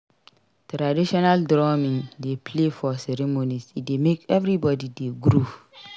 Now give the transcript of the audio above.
Traditional drumming dey play for ceremonies e dey make everybody dey groove.